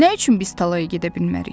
Nə üçün biz tallaya gedə bilmərik?